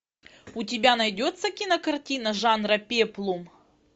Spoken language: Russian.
у тебя найдется кинокартина жанра пеплум